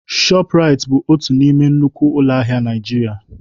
Shoprite bụ otu n'ime nnukwu ụlọ ahịa na Nigeria.